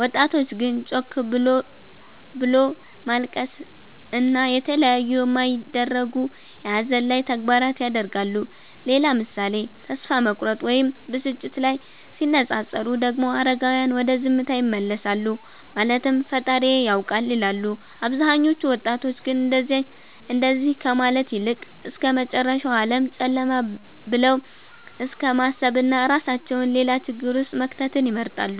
ወጣቶች ግን ጮክ ብሎት ማልቀስን እና የተለያዩ የማይደረጉ የሀዘን ላይ ተግባራት ያደርጋሉ። ሌላ ምሳሌ ተስፋ መቁረጥ ወይም ብስጭት ላይ ሲነፃፀሩ ደግሞ አረጋዉያን ወደ ዝምታ ይመለሳሉ ማለትም ፈጣሪዬ ያዉቃል ይላሉ አብዛኞቹ ወጣቶች ግን እንደዚ ከማለት ይልቅ እስከመጨረሻዉ ዓለም ጨለማ ብለዉ እስከማሰብና እራሳቸዉን ሌላ ችግር ዉስጥ መክተትን ይመርጣሉ